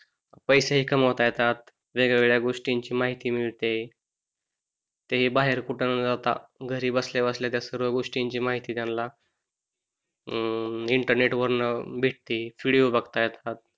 पैसे हि कमवता येतात. वेगवेगळ्या गोष्टी ची माहिती मिळते. ते बाहेर कुठं न जाता घरी बसल्या बसल्या सर्व गोष्टींची माहिती त्यांना अं इंटरनेट वरतन भेटती, विडिओ बघतात.